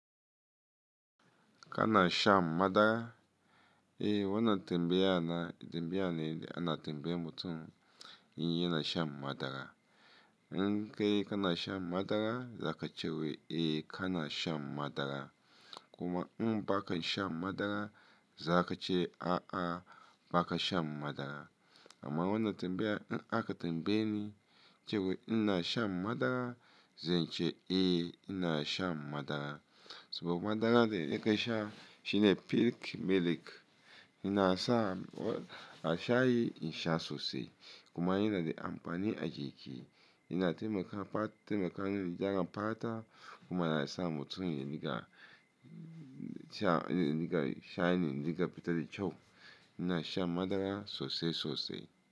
Kana shan madara? Eh, wanan tembe yana, tembe yana ne, da ana temba yan mutum, yin yana sha madara. In kai kana shan madara, za ka ce wai, "Eh, kana shan madara." Kuma in ba ka sha madara, za ka ce, "A'a, ba ka sha madara." Amma wanan tembaya, in aka tambaye ni cewa ina sha madara, zan ce, "Eh, ina shan madara." Saboda madara dai idan ka sha shine pik, milk. Ina sa a shayi in sha sosai. Kuma yana da amfani a jiki. Ina taimakon, taimakon yara fata kuma yana sa mutum yayi niga sha, niga shine, niga fitar da ciwo. Ina sha madara sosai, sosai.